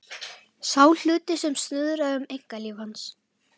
Sá hluti sem snuðraði um einkalíf hans.